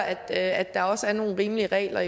at at der også er nogle rimelige regler